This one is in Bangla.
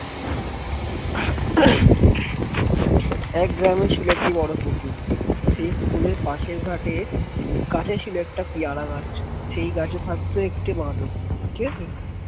এক গ্রামে ছিল বড়ো পুকুর সেই পুকুরের পাশের ঘাটে কাছে ছিল একটা পিয়ারা গাছ সেই গাছে থাকত একটি বাঁদর ঠিক আছে